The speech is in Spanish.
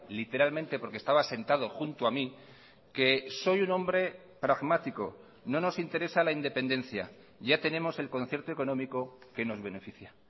literalmente porque estaba sentado junto a mí que soy un hombre pragmático no nos interesa la independencia ya tenemos el concierto económico que nos beneficia